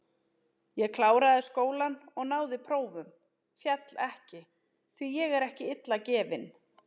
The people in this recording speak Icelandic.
Ég kláraði skólann og náði prófum, féll ekki, því ég er ekki illa gefinn.